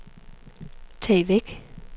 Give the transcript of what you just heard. tag væk